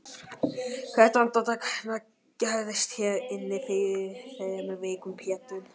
Hvert andartak hennar gerðist hér inni fyrir þremur vikum Pétur.